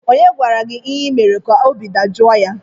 Onye gwara gị ihe ị mere ka obi dajọọ ya?